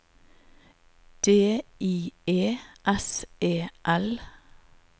D I E S E L